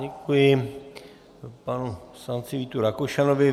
Děkuji panu poslanci Vítu Rakušanovi.